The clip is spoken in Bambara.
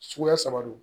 Suguya saba don